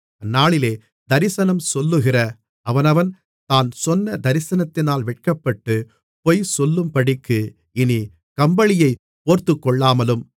அந்நாளிலே தரிசனம் சொல்லுகிற அவனவன் தான் சொன்ன தரிசனத்தினால் வெட்கப்பட்டு பொய் சொல்லும்படிக்கு இனி கம்பளியைப் போர்த்துக்கொள்ளாமல்